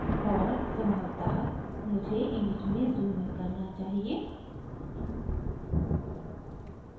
और संभवतः मुझे image में zoom इन करना चाहिए